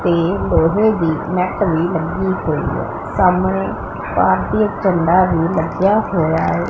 ਤੇ ਲੋਹੇ ਦੀ ਨੈਟ ਵੀ ਲੱਗੀ ਹੋਈ ਹੈ ਸਾਹਮਣੇ ਭਾਰਤੀ ਝੰਡਾ ਲੱਗਾ ਹੋਇਆ ਹੈ।